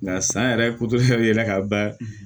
Nka san yɛrɛ yɛlɛla k'a ban